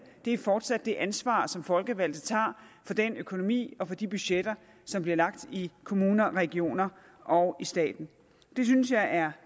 er fortsat det ansvar som folkevalgte tager for den økonomi og for de budgetter som bliver lagt i kommuner regioner og i staten det synes jeg er